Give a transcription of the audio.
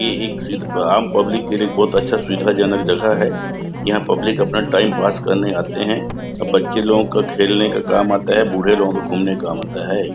ये एक खिद और आम पब्लिक के लिए एक बहुत अच्छा सुविधाजनक जगह है। यहाँ पब्लिक अपना टाइम पास करने आते है। और बच्चे लोगो का खेलना का काम आता है बूढ़े लोगो को घूमने के काम आता है।